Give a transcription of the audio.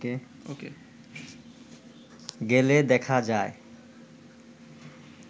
গেলে দেখা যায়